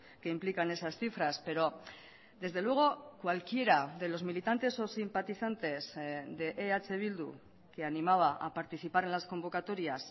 que implican esas cifras pero desde luego cualquiera de los militantes o simpatizantes de eh bildu que animaba a participar en las convocatorias